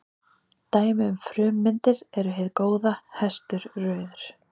Dæmi um frummyndir eru hið góða, hestur, rauður.